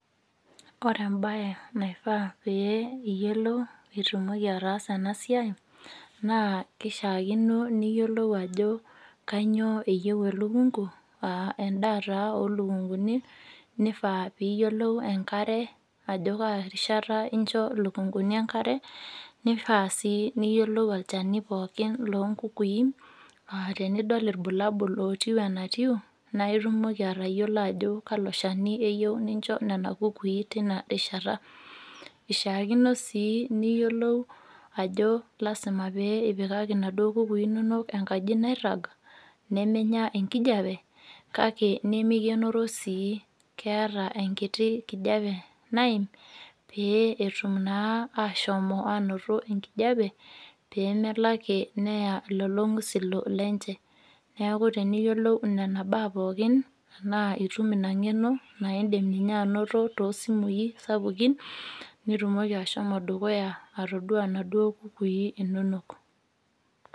Ore embae naifaa pee iyiolou pee itumoki ataasa ena siai naa kishaakino niyiolou ajo kainyioo eyieu elukungu aa endaa taa olukunguni , nifaa piyiolou ajo kaa rishata incho ilukunguni enkare, nifaa sii niyiolou olchani pookin loonkukui aa tenidol irbulabul otiu enatiu naa itumoki atayiolo ajo kalo shani incho nena kukui tina rishata . Ishiaakino sii niyiolou ajo lasima pee ipikaki inaduoo kukui inonok enkaji nairag nemenya enkijape kake nemikienoro sii , keeta enkiti kijape naim pee etum naa ashomo anoto enkijape pemelo ake neye lolo ngusilo lenche. Neaku teniyieu niyiolou nena baa pookin anaa itum engeno naa indim ninye anoto toosimui sapukin , nitumoki ashomo dukuya atoduaa inaduo kukui inonok .